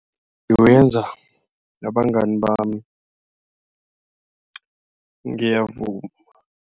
Ngiwenza nabangani bami ngiyavuma.